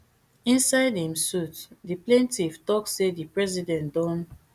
inside im suit di plaintiff tok say di president don